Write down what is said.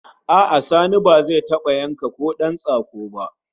A'a Sani bai taba yanka kodan tsako ba